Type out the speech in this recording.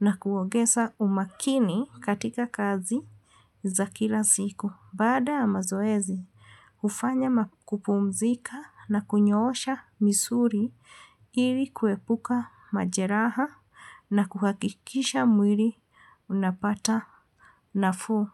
na kuongeza umakini katika kazi za kila siku. Baada ya mazoezi, hufanya kupumzika na kunyoosha misuli ili kuepuka majeraha na kuhakikisha mwili unapata nafuu.